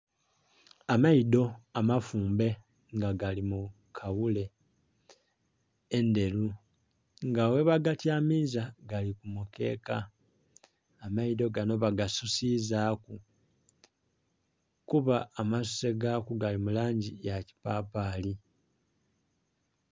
Amaidho amafumbe nga gali mu kaghule endhelu nga ghebagatyamiza gali ku mukeeka amaidho ganho bagasusizaku kuba amasuse gaaku gali mu langi ya kipapaali.